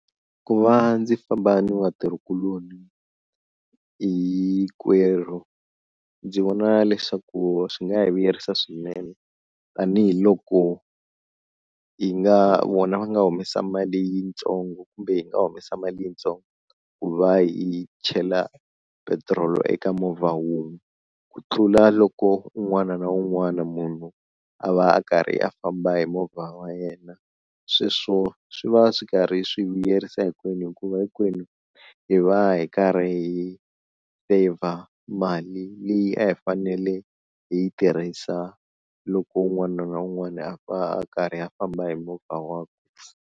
Ku va ndzi famba ni vatirhi kuloni hinkwerhu ndzi vona leswaku swi nga hi vuyerisa swinene tanihiloko hi nga vona va nga humesa mali yitsongo kumbe hi nga humesa mali yitsongo ku va hi chela petiroli eka movha wun'we, ku tlula loko un'wana na un'wana munhu a va a karhi a famba hi movha wa yena sweswo swi va swi karhi swi vuyerisa hinkwenu hikuva hinkwenu hi va hi karhi hi saver mali leyi a hi fanele hi yi tirhisa loko un'wana na un'wana a va a karhi a famba hi movha wakwe.